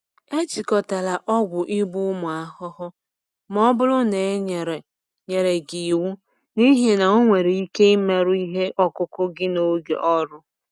Ejikọtala ọgwụ igbu ụmụ ahụhụ ma ọ bụrụ na e nyere nyere gị iwu, n’ihi na ọ nwere ike imerụ ihe ọkụkụ gị n’oge ọrụ.